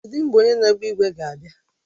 Kedụ mgbe onye na-agba ígwè ga-abịa?